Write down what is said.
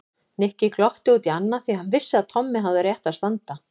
Nikki glotti út í annað því hann vissi að Tommi hafði á réttu að standa.